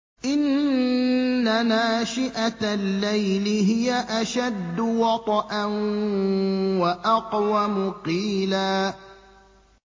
إِنَّ نَاشِئَةَ اللَّيْلِ هِيَ أَشَدُّ وَطْئًا وَأَقْوَمُ قِيلًا